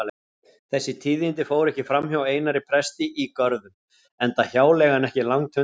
Þessi tíðindi fóru ekki framhjá Einari presti í Görðum enda hjáleigan ekki langt undan.